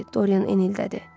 Dorian enildədir.